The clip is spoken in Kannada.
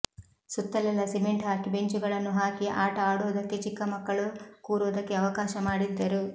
ಸುತ್ತಲೆಲ್ಲ ಸಿಮೆಂಟ್ ಹಾಕಿ ಬೆಂಚುಗಳನ್ನು ಹಾಕಿ ಆಟ ಆಡೋದಕ್ಕೆ ಚಿಕ್ಕಮಕ್ಕಳು ಕೂರೋದಕ್ಕೆ ಅವಕಾಶ ಮಾಡಿದ್ದರು